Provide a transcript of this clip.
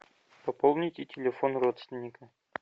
пополните телефон родственника